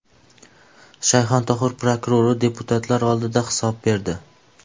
Shayxontohur prokurori deputatlar oldida hisob berdi.